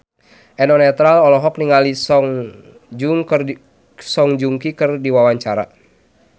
Eno Netral olohok ningali Song Joong Ki keur diwawancara